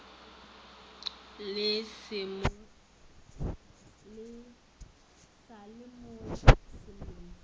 sa le mo sellong se